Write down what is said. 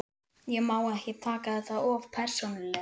Ég má ekki taka þetta of persónulega.